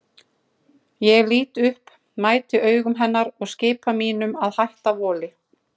Ég lít upp, mæti augum hennar og skipa mínum að hætta voli.